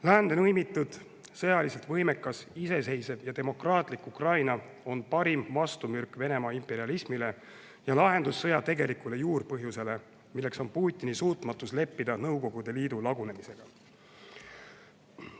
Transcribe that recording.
Läände lõimitud, sõjaliselt võimekas, iseseisev ja demokraatlik Ukraina on parim vastumürk Venemaa imperialismile ning lahendus sõja tegelikule juurpõhjusele, milleks on Putini suutmatus leppida Nõukogude Liidu lagunemisega.